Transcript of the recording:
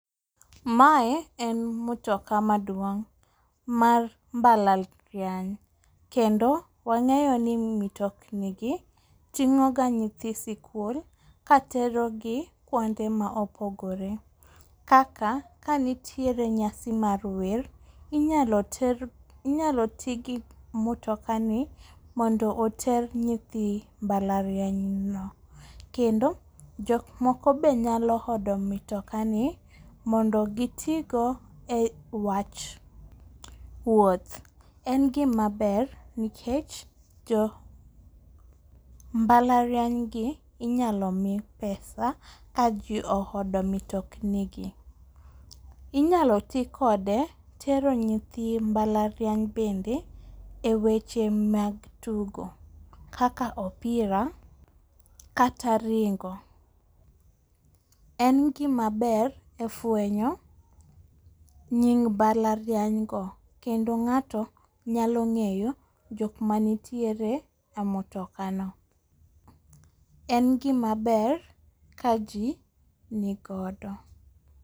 Mae en motoka maduong' mar mbalariany. Kendo wang'eyo ni mitokni gi ting'o ganyithi sikul katero gi kuopnde ma opogore kaka kanitiere nyasi mar wer inyalo ti gi motoka ni mondo oter nyithi mabalariany no. Kendo jok moko be nyalo hodo mitoka ni mondo giti go e wach wuoth. E gima ber nikech jo mbalariany gi inyalo mi pesa kaji ohodo mitokni gi. Inyalo ti kode tero nyithi mbalariany bende e weche mag tugo kaka opira, kata ringo. En gima ber e fwenyo nying mbalariany go kendo ng'ato nyalo ng'eyo jok manitiere e motoka no. En gima ber ka ji nigodo.